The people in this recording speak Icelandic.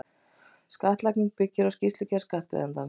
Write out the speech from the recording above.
Skattlagning byggir á skýrslugerð skattgreiðandans.